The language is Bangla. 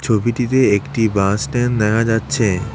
ছবিটিতে একটি বাস স্ট্যান দেখা যাচ্ছে।